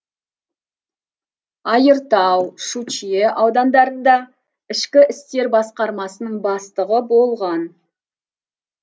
айыртау щучье аудандарында ішкі істер басқармасының бастығы болған